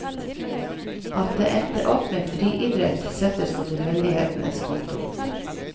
At det endte opp med friidrett settes på tilfeldighetenes konto.